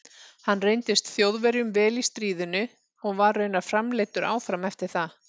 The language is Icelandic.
Hann reyndist Þjóðverjum vel í stríðinu og var raunar framleiddur áfram eftir það.